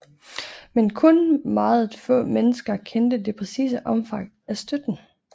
Men kun meget få mennesker kendte det præcise omfang af støtten